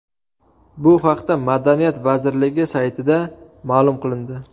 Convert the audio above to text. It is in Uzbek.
Bu haqda madaniyat vazirligi saytida ma’lum qilindi .